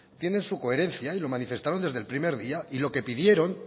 tienen su coherencia y lo manifestaron desde el primer día y lo que pidieron